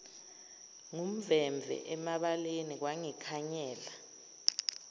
ngumvemve emabaleni kwangikhanyela